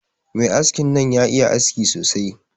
Mai haskin nan ya iya haski sosai.